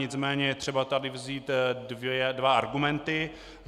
Nicméně je tady třeba vzít dva argumenty.